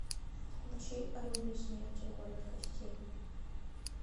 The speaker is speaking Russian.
включи орудие смерти город костей